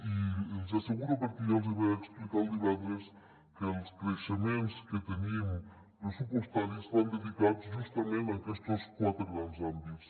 i els hi asseguro perquè ja els hi vaig explicar el divendres que els creixements que tenim pressupostaris van dedicats justament a aquestos quatre grans àmbits